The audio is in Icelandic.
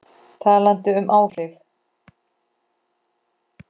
Talandi um áhrif.